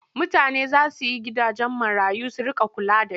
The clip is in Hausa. Mutane za su yi gidajen marayu su riƙa kula da shi.